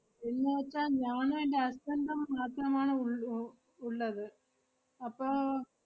എന്നുവെച്ചാ ഞാനും എന്‍റെ husband ഉം മാത്രമാണ് ഉള്ളൂ, ഉള്ളത്. അപ്പോ,